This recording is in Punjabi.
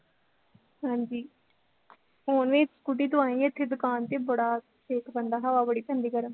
ਹਾਂਜੀ ਹੁਣ ਵੀ ਸਕੂਟੀ ਤੋਂ ਇੱਥੇ ਦੁਕਾਨ ਤੇ ਬੜਾ ਛੇਕ ਪੈਂਦਾ, ਹਵਾ ਬੜੀ ਪੈਂਦੀ ਗਰਮ